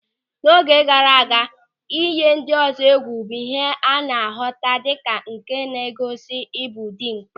N'oge gaara aga, ịyị ndị ọzọ egwu bụ ihe a na-ahụta dịka nke na-egosi ịbụ dimkpa.